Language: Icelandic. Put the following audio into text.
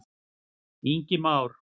Ingi Már.